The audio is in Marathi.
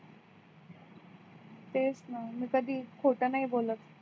तेच न मी कधी खोट नाही बोलत